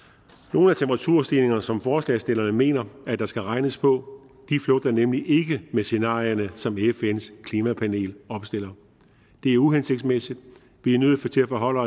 nogle af temperaturstigningerne som forslagsstillerne mener der skal regnes på flugter nemlig ikke med scenarierne som fns klimapanel opstiller det er uhensigtsmæssigt vi er nødt til til at forholde